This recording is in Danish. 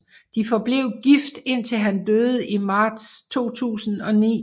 De forblev gift indtil han døde i marts 2009